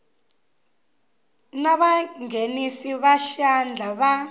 na vanghenisi va xandla va